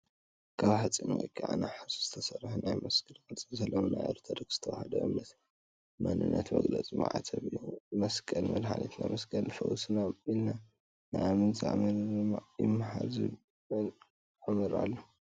ካብ ሓፂን ወይ ከዓ ነሓስ ዝተሰርሑ ናይ መስቀል ቅርፂ ዘለዎም ናይ ኦርቶዶክስ ተዋህዶ እምነት መንነት መግለፂ መዕተብ እዩ። መስቀል መድሓኒትና ፣መስቀል ፈውስና ኢልና ንኣምን ዝኣመነ ድማ ይመሓር ዝብል ኣመር ኣሎ።